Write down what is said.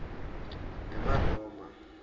ngemaroma